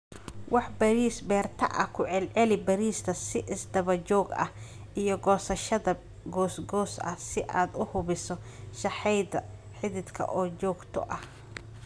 Wax-beeris-beerto ah Ku celceli beerista si isdaba joog ah iyo goosashada goos goos ah si aad u hubiso sahayda xididka oo joogto ah.